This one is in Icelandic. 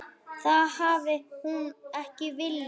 Það hafi hún ekki viljað.